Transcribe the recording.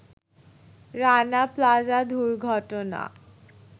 রানা প্লাজা দুর্ঘটনা